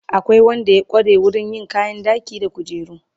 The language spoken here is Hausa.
Akwai Wanda ya kware wurin yin kayan ɗaki da kujeru